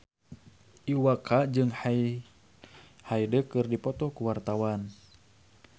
Iwa K jeung Hyde keur dipoto ku wartawan